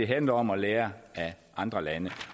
handler om at lære af andre lande